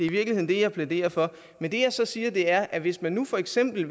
i virkeligheden det jeg plæderer for men det jeg så siger er at hvis man for eksempel